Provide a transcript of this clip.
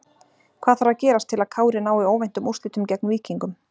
Hvað þarf að gerast til að Kári nái óvæntum úrslitum gegn Víkingum?